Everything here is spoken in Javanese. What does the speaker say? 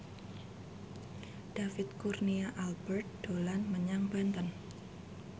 David Kurnia Albert dolan menyang Banten